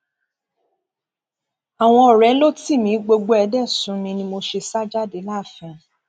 àwọn ọrẹ ló tì mí gbogbo ẹ dé sú mi ni mo ṣe jáde láàfin